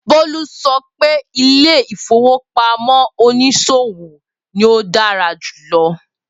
Bolu sọ wípé ilé ìfowópamọ́ oníṣòwò ni o dára jùlọ